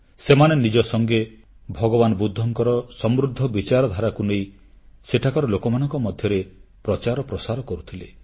ସେମାନେ ନିଜ ସଙ୍ଗେ ଭଗବାନ ବୁଦ୍ଧଙ୍କର ସମୃଦ୍ଧ ବିଚାରଧାରାକୁ ନେଇ ସେଠାକାର ଲୋକମାନଙ୍କ ମଧ୍ୟରେ ପ୍ରଚାରପ୍ରସାର କରୁଥିଲେ